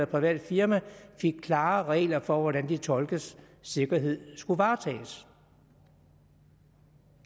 private firmaer fik klare regler for hvordan de tolkes sikkerhed skulle varetages